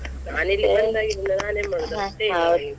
ನಾನ್ .